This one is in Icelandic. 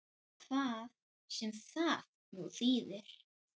Hvað sem það nú þýðir!